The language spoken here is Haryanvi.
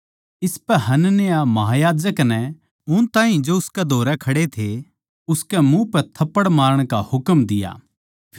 इसपै हनन्याह महायाजक नै उन ताहीं जो उसकै धोरै खड़े थे उसकै मुँह पै थप्पड़ मारण का हुकम दिया